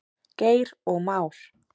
Geir og Már.